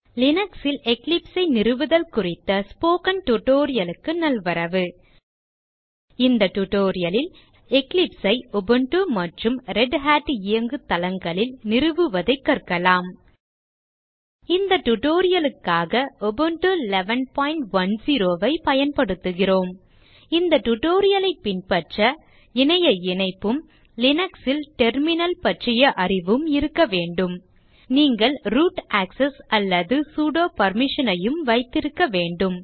Linux ல் Eclipse ஐ நிறுவுதல் குறித்த ஸ்போக்கன் tutorial க்கு நல்வரவு இந்த tutorial லில் Eclipse ஐ உபுண்டு மற்றும் ரெதட் இயங்கு தளங்களில் நிறுவுவதைக் கற்கலாம் இந்த tutorial க்காக உபுண்டு 1110 ஐ பயன்படுத்துகிறோம் இந்த tutorial ஐ பின்பற்ற இணைய இணைப்பும் Linux ல் டெர்மினல் பற்றிய அறிவும் இருக்க வேண்டும நீங்கள் ரூட் ஆக்செஸ் அல்லது சுடோ permission ஐயும் வைத்திருக்க வேண்டும்